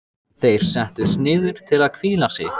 Þeir settust niður til að hvíla sig.